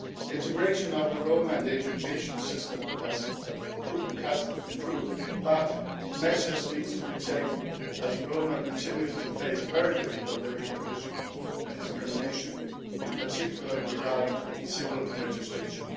Integration of the Roma in the education system has improved, but further measures need to be taken, as the Roma continue to face very difficult living conditions and discrimination, in particular regarding civil registration.